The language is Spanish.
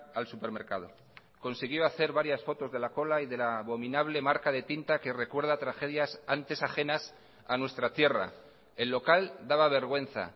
al supermercado consiguió hacer varias fotos de la cola y de la abominable marca de tinta que recuerda tragedias antes ajenas a nuestra tierra el local daba vergüenza